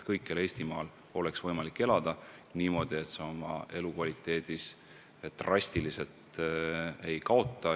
Kõikjal Eestimaal peab olema võimalik elada niimoodi, et elukvaliteedis drastiliselt ei kaotata.